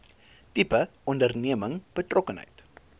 tipe onderneming betrokkenheid